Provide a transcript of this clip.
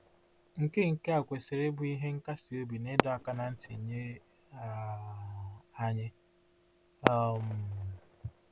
Nke Nke a kwesịrị ịbụ ihe nkasiobi na ịdọ aka ná ntị nye um anyị. um